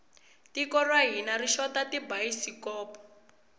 tiko ra hina ri xota tibayisikopo